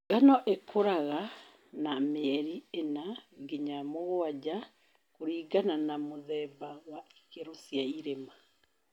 Ngano ĩkũraga na mĩeli ĩna nginya mũgwanja kũlingana na mũthemba na ikĩro cia irĩma